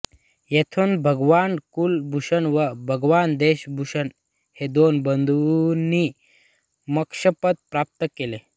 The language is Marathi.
येथून भगवान कुलभुषण व भगवान देशभुषण हे दोन बंधूनी मोक्षपद प्राप्त केलं